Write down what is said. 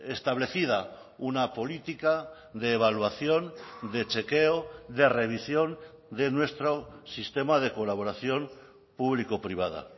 establecida una política de evaluación de chequeo de revisión de nuestro sistema de colaboración público privada